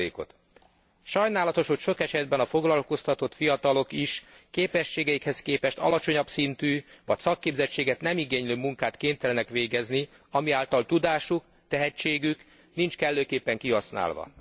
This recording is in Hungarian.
ot. Sajnálatos, hogy sok esetben a foglalkoztatott fiatalok is képességeikhez képest alacsonyabb szintű, vagy szakképzettséget nem igénylő munkát kénytelenek végezni, ami által tudásuk, tehetségük nincs kellőképpen kihasználva.